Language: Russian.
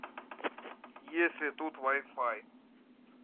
есть ли тут вай фай